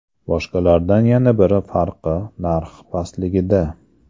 Boshqalardan yana bir farqi narxi pastligida.